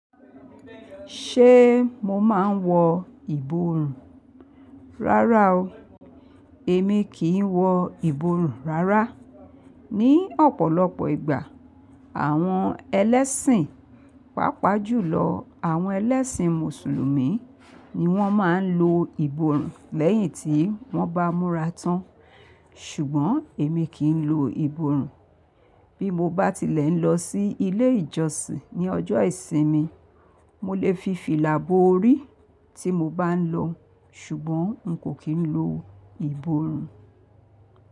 Ṣé mo máa ń wọ ìborùn? Rárá o, èmi kì í wọ ìborùn rárá. Ni ọ̀pọ̀lọpọ̀ ìgbà àwọn ẹlẹ́sìn, pàápàá jùlọ àwọn ẹlẹ́sìn Mùsùlùmí ni wọ́n máa ń lo ìborùn lẹ́yìn tí wọ́n bá múra tán. Ṣùgbọ́n èmi kì í lo ìborùn. Bí mo bá tilẹ̀ ń lọ sí ilé ìjọsìn ní ọjọ́ ìsinmi, mo lè fi fìlà bó orí tí mo bá ń lọ, ṣùgbọ́n n kò kí ń lo ìborùn.